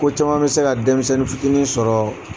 Ko caman bɛ se ka denmisɛnnin fitinin sɔrɔ